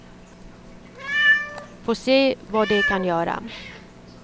Få se vad det kan göra.